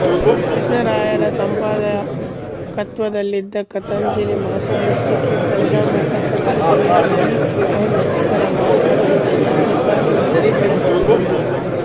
ಕೃಷ್ಣರಾಯರ ಸಂಪಾದಕತ್ವದಲ್ಲಿದ್ದ ಕಥಾಂಜಲಿ ಮಾಸಪತ್ರಿಕೆ ಪ್ರಜಾಮತ ಪತ್ರಿಕೆಯ ಬಿ ಎನ್ ಗುಪ್ತರ ಮಾಲೀಕತ್ವದಲ್ಲಿ ಆಗತಾನೆ ಮತ್ತೆ ಬೆಳಕಿಗೆ ಬಂದಿತ್ತು